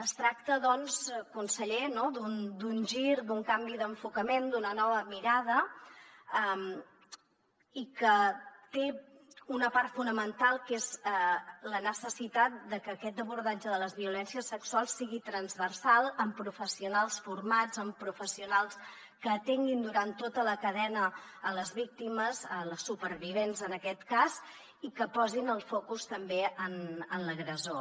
es tracta doncs conseller no d’un gir d’un canvi d’enfocament d’una nova mirada i que té una part fonamental que és la necessitat de que aquest abordatge de les violències sexuals sigui transversal amb professionals formats amb professionals que atenguin durant tota la cadena les víctimes les supervivents en aquest cas i que posin el focus també en l’agressor